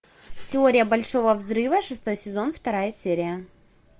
теория большого взрыва шестой сезон вторая серия